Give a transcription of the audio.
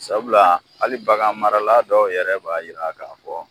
Sabula hali bagan marala dɔw yɛrɛ b'a yira k'a fɔ